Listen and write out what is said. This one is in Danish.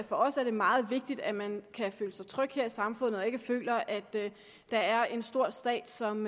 for os er meget vigtigt at man kan føle sig tryg her i samfundet og ikke føler at der er en stor stat som